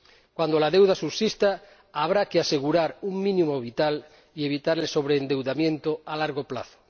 Cuando la deuda subsista habrá que asegurar un mínimo vital y evitar el sobreendeudamiento a largo plazo.